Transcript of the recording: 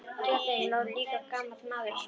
Hjá þeim lá líka gamall maður og svaf.